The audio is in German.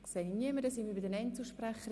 – Ich sehe keine Wortmeldungen.